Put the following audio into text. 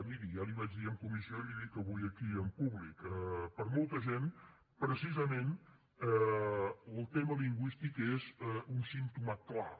miri ja li ho vaig dir en comissió i li ho dic avui aquí en públic per a molta gent precisament el tema lingüístic és un símptoma clar